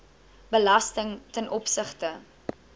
belasting ten opsigte